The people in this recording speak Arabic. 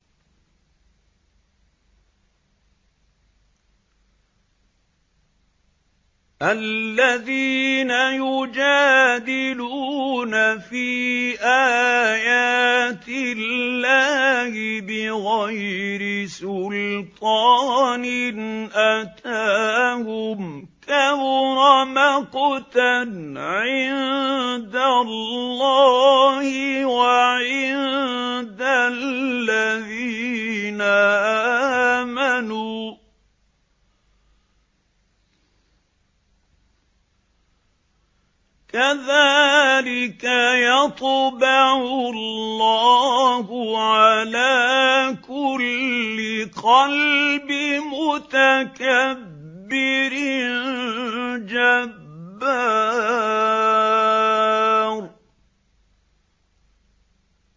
الَّذِينَ يُجَادِلُونَ فِي آيَاتِ اللَّهِ بِغَيْرِ سُلْطَانٍ أَتَاهُمْ ۖ كَبُرَ مَقْتًا عِندَ اللَّهِ وَعِندَ الَّذِينَ آمَنُوا ۚ كَذَٰلِكَ يَطْبَعُ اللَّهُ عَلَىٰ كُلِّ قَلْبِ مُتَكَبِّرٍ جَبَّارٍ